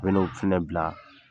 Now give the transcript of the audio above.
Bɛ n'o fana bila.